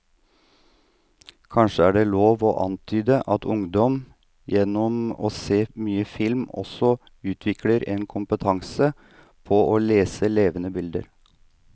Kanskje er det lov å antyde at ungdom gjennom å se mye film også utvikler en kompetanse på å lese levende bilder.